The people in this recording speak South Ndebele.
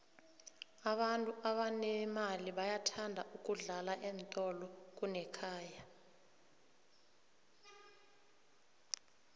abantu abanemali bathanda ukudla eentolo kunekhaya